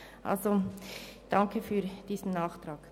Also, ich danke für diesen Nachtrag.